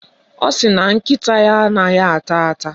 Ọ sị na nkịta ya anaghị ata ata.